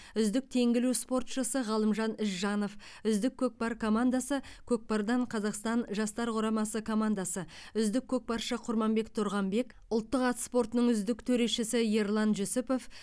үздік теңге ілу спортшысы ғалымжан ізжанов үздік көкпар командасы көкпардан қазақстан жастар құрамасы командасы үздік көкпаршы құрманбек тұрғанбек ұлттық ат спортының үздік төрешісі ерлан жүсіпов